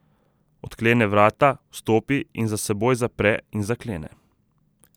Odklene vrata, vstopi in za seboj zapre in zaklene.